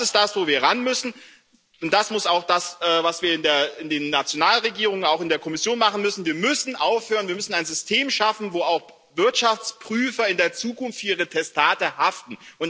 Und das ist das, wo wir ranmüssen, und das muss auch das sein, was wir in den Nationalregierungen, auch in der Kommission, machen müssen Wir müssen ein System schaffen, wo auch Wirtschaftsprüfer in der Zukunft für ihre Testate haften.